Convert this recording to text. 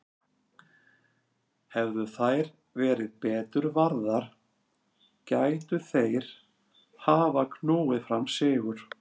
Hefðu þær verið betur varðar gætu þeir hafa knúið fram sigur.